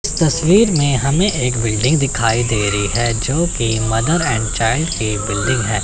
इस तस्वीर में हमें एक बिल्डिंग दिखाई दे रही है जोकि मदर एंड चाइल्ड के बिल्डिंग है।